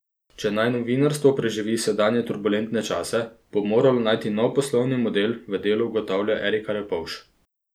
Če naj novinarstvo preživi sedanje turbulentne čase, bo nujno moralo najti nov poslovni model, v Delu ugotavlja Erika Repovž.